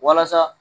Walasa